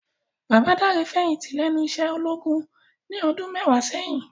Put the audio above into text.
Baba Dare fèyinti lènú iṣè ólógún ni òdùn mèwá sèyin